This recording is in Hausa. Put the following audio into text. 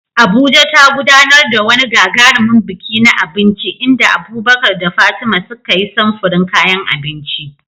Abuja ta gudanar da wani gagarumin biki na abinci inda Abubakar da Fatima suka yi samfurin kayan abinci.